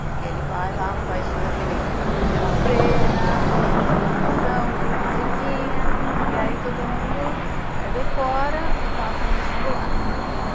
Porque ele vai lá, faz toda aquele aquela cena, toda aquela dramatização, faz a musiquinha e aí todo mundo decora e passa no vestibular.